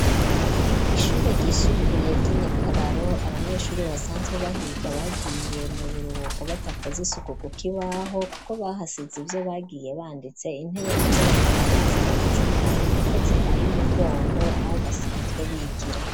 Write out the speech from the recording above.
Ishure ryisumbuye ry'inyakararo abanyeshure basanzwe bahiga bagiye mu biruhuko badakoza isuku ku kukibaho iwaho kuko bahasize ivyo bagiye banditse, intebe nazo bakaba bazitondetse nabi kuko zihaye umugongo aho basanzwe bigira.